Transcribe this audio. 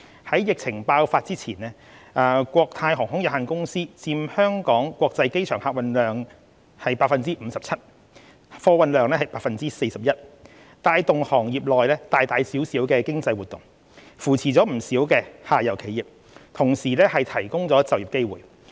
在疫情爆發之前，國泰航空有限公司佔香港國際機場客運量的 57% 及貨運量的 41%， 帶動行業內大大小小的經濟活動，扶持不少下游企業，同時提供就業機會。